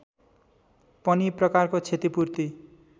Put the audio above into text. पनि प्रकारको क्षतिपूर्ति